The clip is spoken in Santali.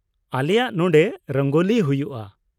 ᱟᱞᱮᱭᱟᱜ ᱱᱚᱸᱰᱮ ᱨᱚᱝᱜᱚᱞᱤ ᱦᱩᱭᱩᱜᱼᱟ ᱾